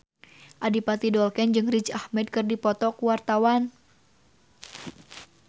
Adipati Dolken jeung Riz Ahmed keur dipoto ku wartawan